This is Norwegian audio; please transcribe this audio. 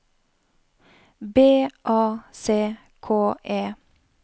B A C K E